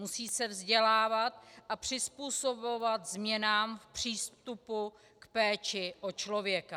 Musí se vzdělávat a přizpůsobovat změnám v přístupu k péči o člověka.